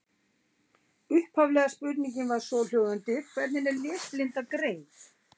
Upphaflega spurningin var svohljóðandi: Hvernig er lesblinda greind?